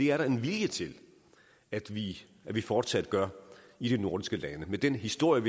er en vilje til at vi vi fortsat gør i de nordiske lande med den historie